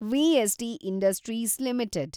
VST Industries limited